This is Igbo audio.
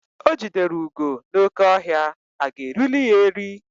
O jidere ugo n'oke ọhịa, aga erili ya eri?